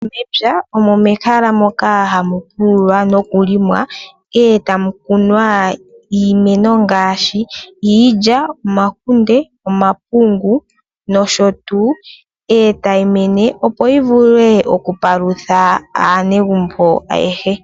Mepya omo mehala moka hamu pululwa noku limwa, e tamu kunwa iimeno ngaashi iilya, omakunde, omapungu nosho tuu ,e ta yi mene opo yi vule okupalutha aanegumbo ayehe.